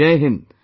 Jai Hind